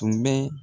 Tun bɛ